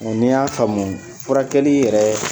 Ɔ ni y'a faamu furakɛli yɛrɛ